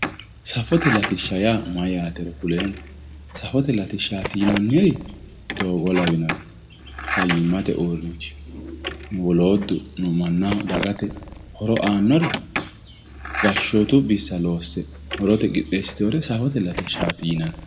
safote latishsha yaa mayyaatero kuleemmohe safote latishshaati yinanniri doogo'o lawinori fayyiate uurrinsha yinanniri wolottuno mannaho dagate horo aannori gashshootu bissa loosse mannaho horote qixxeessiteyoore safote latishshaati yinanni